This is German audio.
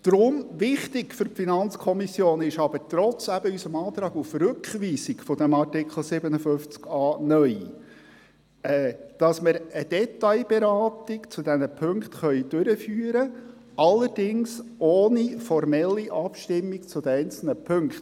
Darum ist es für die FiKo trotz unseres Antrags auf Rückweisung des Artikels 57a (neu) wichtig, dass wir eine Detailberatung zu diesen Punkten durchführen können, allerdings ohne eine formelle Abstimmung über die einzelnen Punkte.